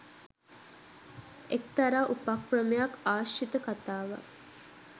එක්තරා උපක්‍රමයක් ආශ්‍රිත කතාවක්.